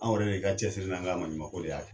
Anw yɛrɛ de ka cɛsiri n'an ka maɲumako de y'a